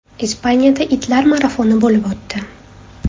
Ispaniyada itlar marafoni bo‘lib o‘tdi.